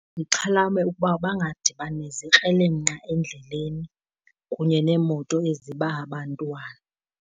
Ndixhalabe ukuba bangadibani nezikrelemnqa endleleni kunye neemoto eziba abantwana.